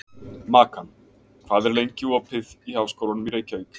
Makan, hvað er lengi opið í Háskólanum í Reykjavík?